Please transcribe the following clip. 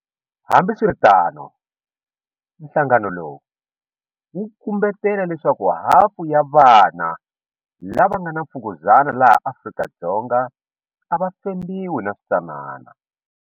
Hambiswiritano, nhlangano lowu wu kumbetela leswaku hafu ya vana lava nga na mfukuzana laha Afrika-Dzonga a va fembiwi naswitsanana.